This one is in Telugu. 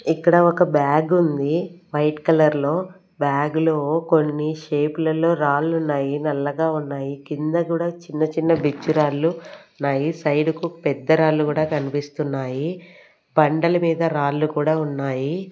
ఇక్కడ ఒక బ్యాగ్ ఉంది వైట్ కలర్ లో బ్యాగ్ లో కొన్ని షేపులలో రాళ్ళు ఉన్నాయి నల్లగా ఉన్నాయి కింద కూడా చిన్న చిన్న బిచ్చు రాళ్ళు ఉన్నాయి సైడ్ కు పెద్ద రాళ్ళు కూడా కనిపిస్తున్నాయి బండల మీద రాళ్ళు కూడా ఉన్నాయి.